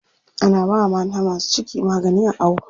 Ana bawa mata masu ciki magani a awo.